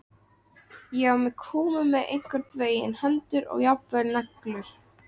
Ég var komin með einhvern veginn hendur og jafnvel neglur.